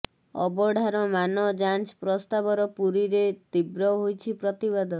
ଅବଢାର ମାନ ଯାଂଚ ପ୍ରସ୍ତାବର ପୁରୀରେ ତୀବ୍ର ହୋଇଛି ପ୍ରତିବାଦ